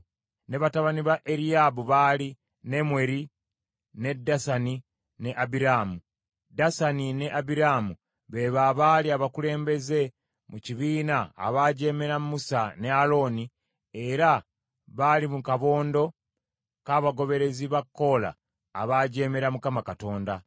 ne batabani ba Eriyaabu baali, Nemweri ne Dasani ne Abiraamu. Dasani ne Abiraamu be bo abaali abakulembeze mu kibiina abaajeemera Musa ne Alooni era baali mu kabondo k’abagoberezi ba Koola abaajeemera Mukama Katonda.